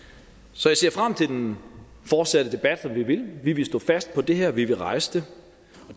så jeg ser frem til den fortsatte debat vi vil vi vil stå fast på det her vi vil rejse